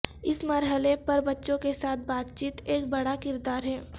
اس مرحلے پر بچوں کے ساتھ بات چیت ایک بڑا کردار ہے